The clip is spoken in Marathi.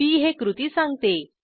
पी हे कृती सांगते